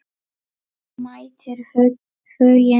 Mætir Huginn?